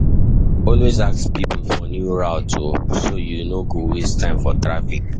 Always ask people for new routes so you no go waste time for traffic.